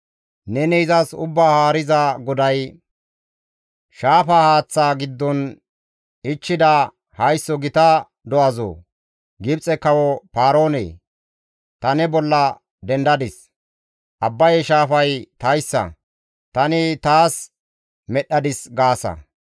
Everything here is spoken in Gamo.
Neni izas Ubbaa Haariza GODAY, «Shaafa haaththa giddon ichchida haysso gita do7azoo! Gibxe kawo Paaroone! Ta ne bolla dendadis; ‹Abbaye shaafay tayssa; tani taas medhdhadis› gaasa.